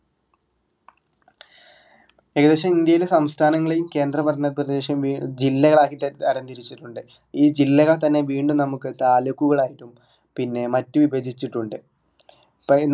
ഏകദേശം ഇന്ത്യയിലെ സംസ്ഥാനങ്ങളിൽ കേന്ദ്രഭരണപ്രദേശ ജില്ലകളായി തരം തിരിച്ചിട്ടുണ്ട് ഈ ജില്ലകളെ തന്നെ വീണ്ടും നമ്മുക്ക് താലൂക്കുകളായിട്ടും പിന്നെ മറ്റു വിഭജിച്ചിട്ടുണ്ട്